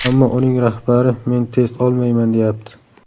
Ammo uning rahbari ‘Men test olmayman’, deyapti.